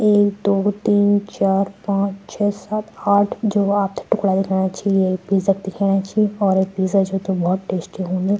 एक दो तीन चार पांच छे सात आठ जो आपथे टुकड़ा दिखेणा छि ये इक पिज़्ज़ा क दिखेणा छि और ये पिज़्ज़ा जोकि भौत टेस्टी हून्द।